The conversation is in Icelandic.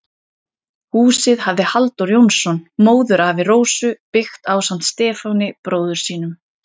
Húsið hafði Halldór Jónsson, móðurafi Rósu, byggt ásamt Stefáni, bróður sínum.